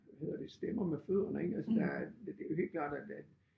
Hvad hedder det stemmer med fødderne ik altså der er det jo helt klart at at